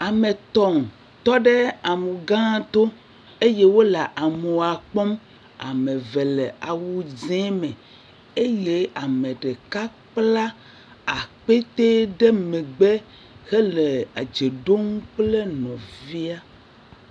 Ame tɔ̃ tɔ ɖe amugãa to eye wole amua kpɔm. Ame ve le awu dzẽ me. Eye ame ɖeka kpla akpete ɖe megbe hele edze ɖom kple nɔvia.